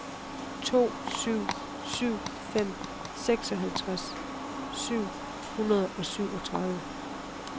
to syv syv fem seksoghalvtreds syv hundrede og syvogtredive